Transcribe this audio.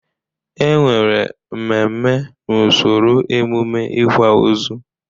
E nwere mmemme n'usoro emume ịkwa ozu.